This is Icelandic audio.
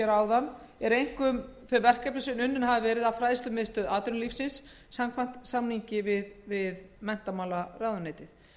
að ofan eru einkum þau verkefni sem unnin hafa verið af fræðslumiðstöð atvinnulífsins samkvæmt samningi við menntamálaráðuneytið